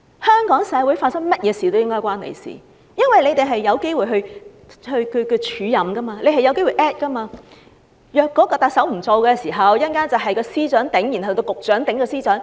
香港社會發生甚麼事都理應與他有關，因為他們有機會署任，假如特首辭任，便會由司長署任，然後由局長署任司長。